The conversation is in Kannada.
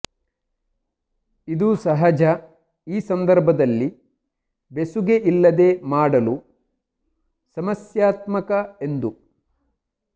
ಇದು ಸಹಜ ಈ ಸಂದರ್ಭದಲ್ಲಿ ಬೆಸುಗೆ ಇಲ್ಲದೆ ಮಾಡಲು ಸಮಸ್ಯಾತ್ಮಕ ಎಂದು